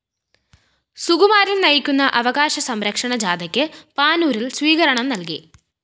സുകുമാരന്‍ നയിക്കുന്ന അവകാശ സംരക്ഷണ ജാഥയ്ക്ക് പാനൂരില്‍ സ്വീകരണം നല്‍കി